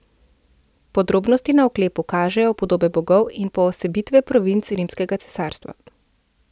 Podrobnosti na oklepu kažejo podobe bogov in poosebitve provinc rimskega cesarstva.